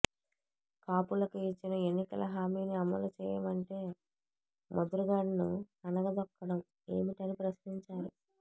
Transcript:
కాపులకు ఇచ్చిన ఎన్నికల హామీని అమలు చేయమంటే ముద్రగడను అణగదొక్కడం ఏమిటని ప్రశ్నించారు